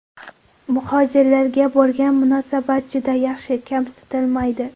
Muhojirlarga bo‘lgan munosabat juda yaxshi, kamsitilmaydi.